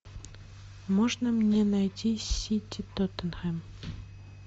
можно мне найти сити тоттенхэм